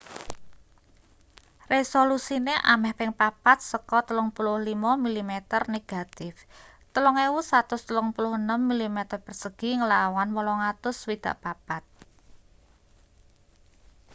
resolusine ameh ping papat saka 35 mm negatif 3136 mm2 nglawan 864